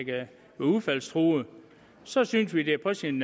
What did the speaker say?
udfaldstruede så synes vi det er på sin